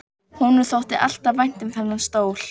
Honum þótti alltaf vænt um þennan stól.